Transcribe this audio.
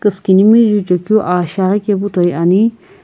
Küsükinimi juchekeu aa shiaghi kepu toi ani.